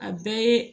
A bɛɛ ye